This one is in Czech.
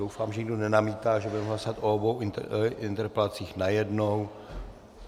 Doufám, že nikdo nenamítá, že budeme hlasovat o obou interpelacích najednou.